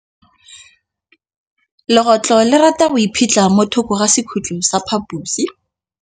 Legôtlô le rata go iphitlha mo thokô ga sekhutlo sa phaposi.